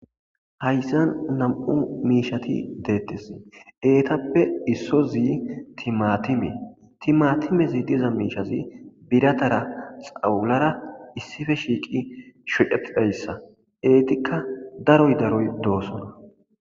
hayssan nam7u miishati deettes eetappe isso zi timatime timatimezi diza miishazi biratara xawulara issife shiiqi shodeppheyssa eetikka daroy daroy doosona